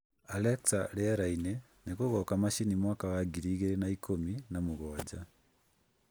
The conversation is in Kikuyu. Alexa rĩera-inĩ nĩ gũgoka Machi mwaka wa ngiri igĩrĩ na ikũmi na mũgwanja